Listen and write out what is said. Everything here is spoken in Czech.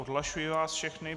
Odhlašuji vás všechny.